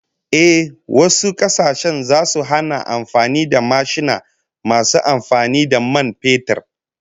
Ehh, wasu kasashen zasu hana amfani da mashina masu amfani da man fetur